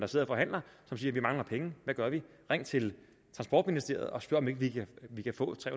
og forhandler som siger vi mangler penge hvad gør vi ring til transportministeriet og spørg om ikke vi kan få tre